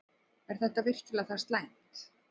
Er þetta virkilega það slæmt?